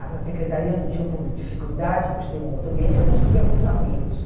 na secretaria, onde eu tinha um pouco de dificuldade por ser um outro ambiente, eu conseguia alguns amigos.